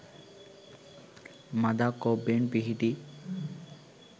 මඳක් ඔබ්බෙන් පිහිටි